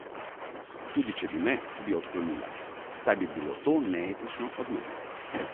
Tudi če bi me, bi odklonila, saj bi bilo to neetično od mene.